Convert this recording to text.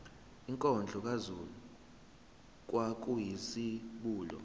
inkondlo kazulu kwakuyizibulo